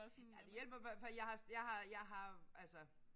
Ja det hjælper hvert fald jeg har jeg har jeg har altså